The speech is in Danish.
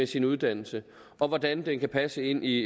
sin uddannelse og hvordan den kan passe ind i